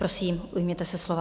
Prosím, ujměte se slova.